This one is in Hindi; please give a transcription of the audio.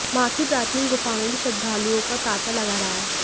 मां की प्राचीन गुफा में भी श्रद्धालुओं का तांता लगा रहा